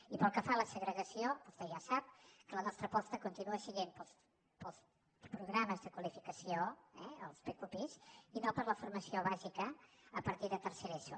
i pel que fa a la segregació vostè ja sap que la nostra aposta continua sent pels programes de qualificació els pqpi i no per la formació bàsica a partir de tercer d’eso